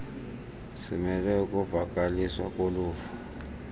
simele ukuvakaliswa koluvo